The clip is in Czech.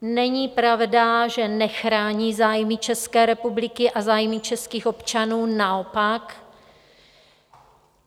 Není pravda, že nechrání zájmy České republiky a zájmy českých občanů, naopak.